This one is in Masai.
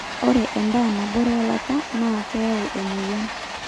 ore endaa nabore eilata naa keyau emoyian